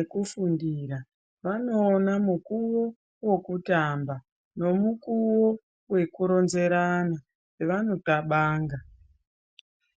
ekufundira vanoona mukuwo wekutamba ngemukuwo wekuronzerana zvavanoxabanga.